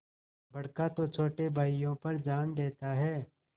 बड़का तो छोटे भाइयों पर जान देता हैं